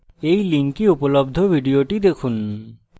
এই লিঙ্কে উপলব্ধ video দেখুন